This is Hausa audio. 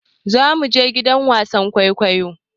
Za mu je gidan wasan kwaikwayo.